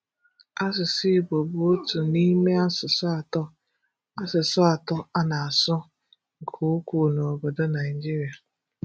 Asụsụ Igbo bụ otu n'ime asụsụ atọ asụsụ atọ a na-asụ nke ukwuu n' obodo Nigeria.